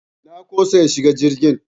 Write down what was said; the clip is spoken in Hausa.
Na ƙosa in shiga jirgin.